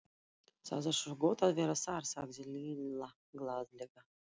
Það er svo gott að vera þar, sagði Lilla glaðlega.